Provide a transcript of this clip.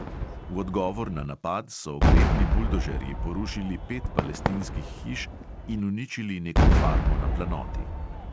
V odgovor na napad so oklepni buldožerji porušili pet palestinskih hiš in uničili neko farmo na planoti.